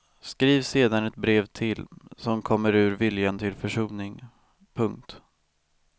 Skriv sedan ett brev till som kommer ur viljan till försoning. punkt